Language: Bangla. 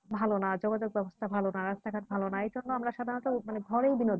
ভালো না যোগাযোগের ব্যাবস্থা ভালো না রাস্তাঘাট ভালো না এই জন্য আমরা সাধারণত আমরা মানে ঘরে বিনোদ